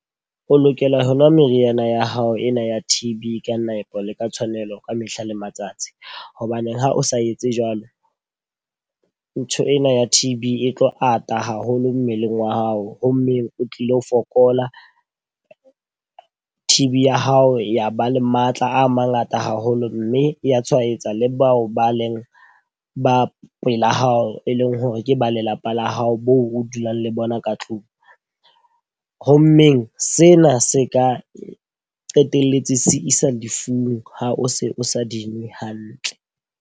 O lokela ho nwa meriana ya hao ena ya T_B ka nepo le ka tshwanelo ka mehla le matsatsi. Hobaneng ha o sa etse jwalo ntho ena ya T_B e tlo ata haholo mmeleng wa hao. Ho mmeng o tlilo fokola, T_B ya hao ya ba le matla a mangata haholo mme ya tshwaetsa le bao ba leng ba pela hao, e leng hore ke ba lelapa la hao hao moo o dulang le bona ka tlung. Ho mmeng sena se ka qetelletse se isa lefung ha o se o sa di nwe hantle.